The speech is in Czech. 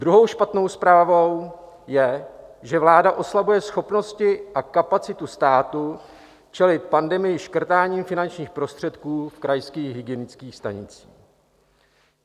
Druhou špatnou zprávou je, že vláda oslabuje schopnosti a kapacitu státu čelit pandemii škrtáním finančních prostředků v krajských hygienických stanicích.